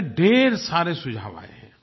यानि ढेर सारे सुझाव आये हैं